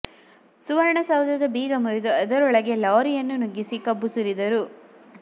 ಸುವರ್ಣ ಸೌಧದ ಬೀಗ ಮುರಿದು ಅದರೊಳಗೆ ಲಾರಿಗಳನ್ನು ನುಗ್ಗಿಸಿ ಕಬ್ಬು ಸುರಿ ದರು